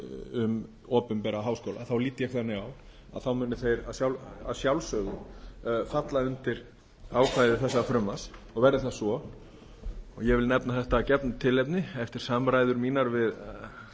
um opinbera háskóla þá lít ég þannig að þá muni þeir að sjálfsögðu falla undir ákvæði þessa frumvarps og verði það svo og ég vil nefna þetta af gefnu tilefni eftir samræður mínar við